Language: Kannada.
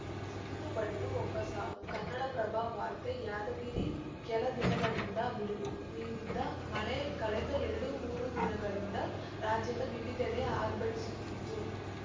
ಸಿಡಿಲು ಬಡಿದು ಒಬ್ಬ ಸಾವು ಕನ್ನಡಪ್ರಭ ವಾರ್ತೆ ಯಾದಗಿರಿ ಕೆಲ ದಿನಗಳಿಂದ ಬಿಡುವು ನೀಡಿದ್ದ ಮಳೆ ಕಳೆದ ಎರಡು ಮೂರು ದಿನಗಳಿಂದ ರಾಜ್ಯದ ವಿವಿಧೆಡೆ ಆರ್ಭಟಿಸುತ್ತಿದ್ದು